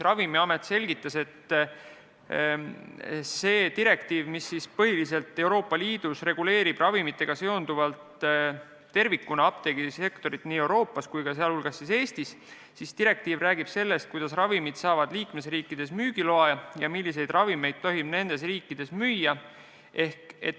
Ravimiameti esindaja selgitas, et see direktiiv, mis põhiliselt Euroopa Liidus reguleerib ravimitega seonduvalt tervikuna apteegisektorit Euroopa Liidus ja sh ka Eestis, sätestab, kuidas ravimid saavad liikmesriikides müügiloa ja milliseid ravimeid tohib nendes riikides müüa.